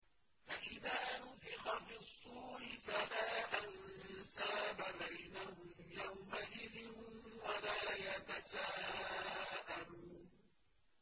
فَإِذَا نُفِخَ فِي الصُّورِ فَلَا أَنسَابَ بَيْنَهُمْ يَوْمَئِذٍ وَلَا يَتَسَاءَلُونَ